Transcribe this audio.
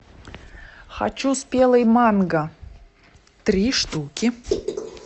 хочу спелый манго три штуки